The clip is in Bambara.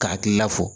Ka hakil fɔ